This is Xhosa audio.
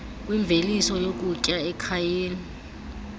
kwimveliso yokutya ekhayeni